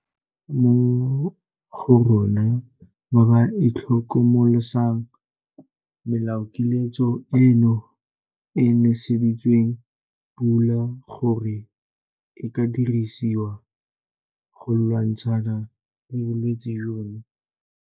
Go na le ba bangwe mo go rona ba ba itlhokomolosang melaokiletso eno e e neseditsweng pula gore e ka dirisiwa go lwantshana le bolwetse jono.